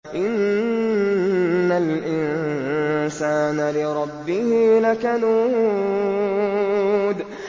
إِنَّ الْإِنسَانَ لِرَبِّهِ لَكَنُودٌ